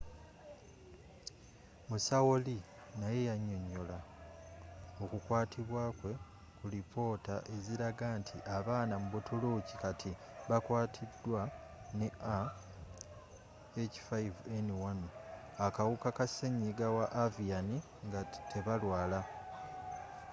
musawo lee naye yanyonyola oku kwatibwako kwe ku lipoota eziraga nti abaana mu butuluki kati bakwaatiddwa ne ah5n1 akawuka ka senyiga wa avian nga tebalwala